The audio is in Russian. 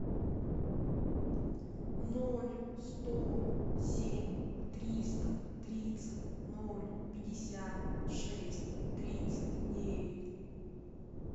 ноль сто семь триста тридцать ноль пятьдесят шесть тридцать девять